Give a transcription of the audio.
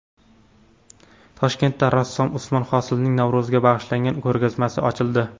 Toshkentda rassom Usmon Hosilning Navro‘zga bag‘ishlangan ko‘rgazmasi ochildi.